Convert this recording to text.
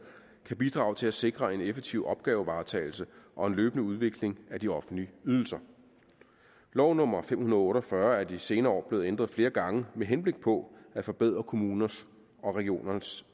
kan bidrage til at sikre en effektiv opgavevaretagelse og en løbende udvikling af de offentlige ydelser lov nummer fem hundrede og otte og fyrre er de senere år blevet ændret flere gange med henblik på at forbedre kommuners og regioners